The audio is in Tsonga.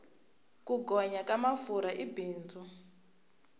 ku gonya ka mafurha i bindzu